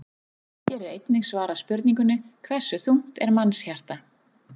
Hér er einnig svarað spurningunni: Hversu þungt er mannshjarta?